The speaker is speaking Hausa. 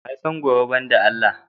Wa ya san gobe ban da Allah?